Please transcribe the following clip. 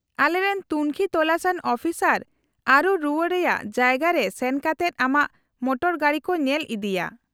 -ᱟᱞᱮᱨᱮᱱ ᱛᱩᱝᱠᱷᱤ ᱛᱚᱞᱟᱥᱟᱱ ᱚᱯᱷᱤᱥᱟᱨ ᱟᱹᱨᱩ ᱨᱩᱣᱟᱹᱲ ᱨᱮᱭᱟᱜ ᱡᱟᱭᱜᱟ ᱨᱮ ᱥᱮᱱ ᱠᱟᱛᱮᱫ ᱟᱢᱟᱜ ᱢᱚᱴᱚᱨ ᱜᱟᱹᱰᱤ ᱠᱚ ᱧᱮᱞ ᱤᱫᱤᱭᱟ ᱾